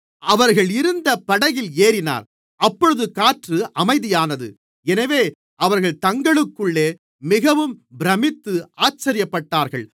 அவர்கள் இருந்த படகில் ஏறினார் அப்பொழுது காற்று அமைதியானது எனவே அவர்கள் தங்களுக்குள்ளே மிகவும் பிரமித்து ஆச்சரியப்பட்டார்கள்